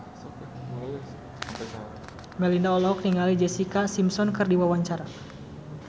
Melinda olohok ningali Jessica Simpson keur diwawancara